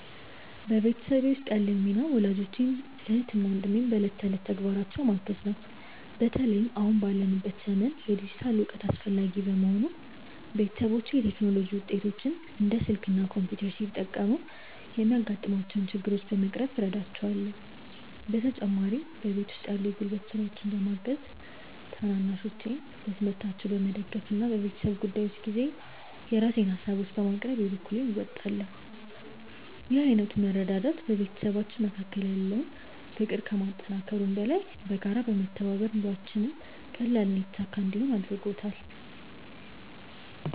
በቤተሰቤ ውስጥ ያለኝ ሚና ወላጆቼን፣ እህትና ወንድሜን በዕለት ተዕለት ተግባራቸው ማገዝ ነው። በተለይም አሁን ባለንበት ዘመን የዲጂታል እውቀት አስፈላጊ በመሆኑ፣ ቤተሰቦቼ የቴክኖሎጂ ውጤቶችን (እንደ ስልክ እና ኮምፒውተር) ሲጠቀሙ የሚያጋጥሟቸውን ችግሮች በመቅረፍ እረዳቸዋለሁ። በተጨማሪም በቤት ውስጥ ያሉ የጉልበት ስራዎችን በማገዝ፣ ታናናሾቼን በትምህርታቸው በመደገፍ እና በቤተሰብ ጉዳዮች ጊዜ የራሴን ሃሳቦችን በማቅረብ የበኩሌን እወጣለሁ። ይህ ዓይነቱ መረዳዳት በቤተሰባችን መካከል ያለውን ፍቅር ከማጠናከሩም በላይ፣ በጋራ በመተባበር ኑሯችንን ቀላልና የተሳካ እንዲሆን አድርጎታል።